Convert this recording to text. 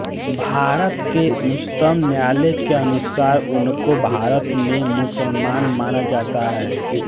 भारत के उच्चतम न्यायालय के अनुसार उनको भारत में मुसलमान माना जाता है